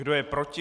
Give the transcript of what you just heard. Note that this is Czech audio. Kdo je proti?